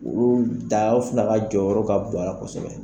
Olu da fana ka jɔyɔrɔ ka bɔ a la kosɛbɛ.